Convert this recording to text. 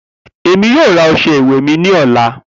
Emi yoo ra ọṣẹ iwẹ mi ni ọla.